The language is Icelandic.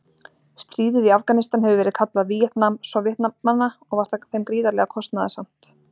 Stríðið í Afganistan hefur verið kalla Víetnam-Sovétmanna og var það þeim gríðarlega kostnaðarsamt.